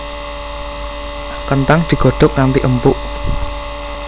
Kenthang digodhog nganti empuk